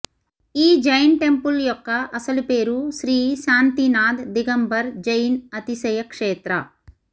ఈ జైన్ టెంపుల్ యొక్క అసలు పేరు శ్రీ శాంతినాథ్ దిగంబర్ జైన్ అతిశయ క్షేత్ర